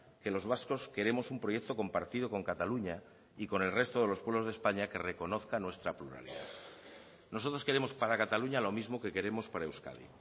que los vascos queremos un proyecto compartido con cataluña y con el resto de los pueblos de españa que reconozcan nuestra pluralidad nosotros queremos para cataluña lo mismo que queremos para euskadi